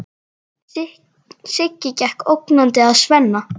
Siggi gekk ógnandi að Svenna.